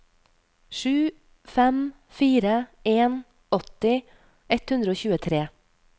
sju fem fire en åtti ett hundre og tjuetre